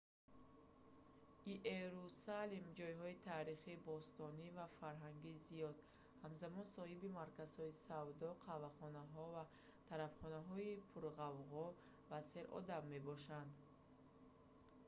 иерусалим ҷойҳои таърихӣ бостонӣ ва фарҳангии зиёд ҳамзамон соҳиби марказҳои савдо қаҳвахонаҳо ва тарабхонаҳои пурғавғо ва серодам мебошад